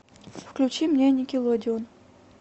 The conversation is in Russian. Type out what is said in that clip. включи мне никелодеон